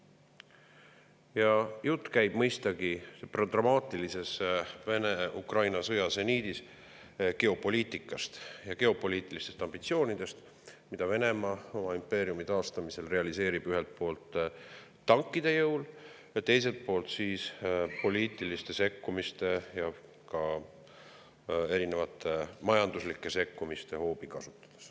Ja jutt käib dramaatilises Vene-Ukraina sõja seniidis mõistagi geopoliitikast ja geopoliitilistest ambitsioonidest, mida Venemaa oma impeeriumi taastamisel realiseerib ühelt poolt tankide jõul ja teiselt poolt kasutades erinevaid poliitilise sekkumise ja majandusliku sekkumise hoobasid.